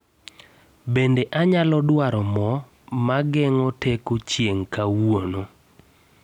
Bende anyalo duaro moo mageng'o teko chieng' kawuono